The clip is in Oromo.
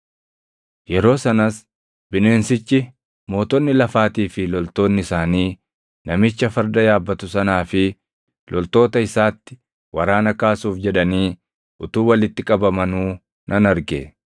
Yeroo sanas bineensichi, mootonni lafaatii fi loltoonni isaanii namicha farda yaabbatu sanaa fi loltoota isaatti waraana kaasuuf jedhanii utuu walitti qabamanuu nan arge.